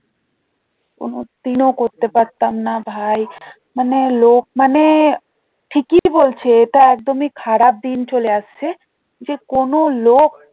কোনো দিনও করতে পারতাম না ভাই মানে লোক মানে ঠিকই বলছে মানে এটা একদমই খারাপ দিন চলে আসছে যে কোনো লোক